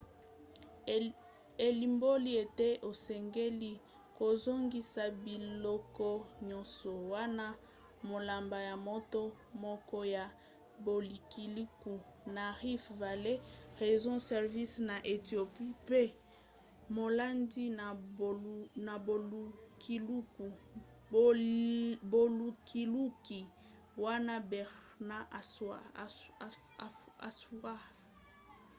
elimboli ete osengeli kozongisa biloko nyonso, wana maloba ya moto moko ya bolukiluki na rift valley research service na ethiopie mpe molandi na bolukiluki wana berhane asfaw